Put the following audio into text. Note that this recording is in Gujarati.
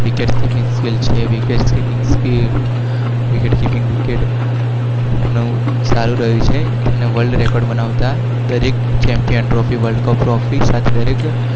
ક્રિકેટ